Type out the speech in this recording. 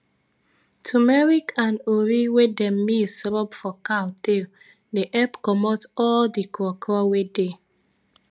tumeric and ori wey dem mix rub for cow tail dey epp comot all d kro kro wey dey